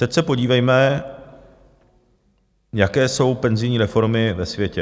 Teď se podívejme, jaké jsou penzijní reformy ve světě.